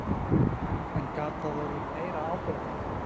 En gat það orðið meira áberandi?